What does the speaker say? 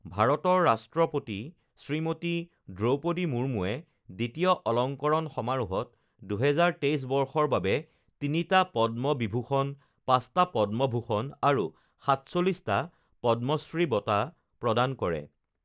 ভাৰতৰ ৰাষ্ট্ৰপতি শ্ৰীমতী দ্ৰৌপদী মুৰ্মূৱে দ্বিতীয় অলংকৰণ সমাৰোহত ২০২৩ বৰ্ষৰ বাবে তিনিটা পদ্ম বিভূষণ, পাঁচটা পদ্মভূষণ আৰু সাতচল্লিশটা পদ্মশ্ৰী বঁটা প্ৰদান কৰে